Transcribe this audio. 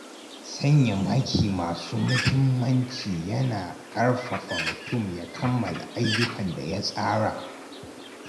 Sanya maki masu muhimmanci yana ƙarfafa mutum ya kammala ayyukan da ya tsara.